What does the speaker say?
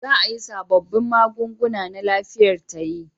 Za a yi sabobbin magunguna na lafiyar tayi